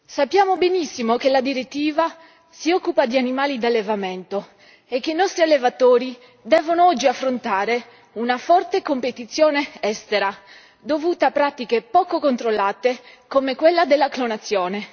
Sappiamo benissimo che la direttiva si occupa di animali d'allevamento e che i nostri allevatori devono oggi affrontare una forte competizione estera, dovuta a pratiche poco controllate come quella della clonazione